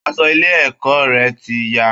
Aṣọ ilé ẹ̀kọ́ rẹ̀ ti ya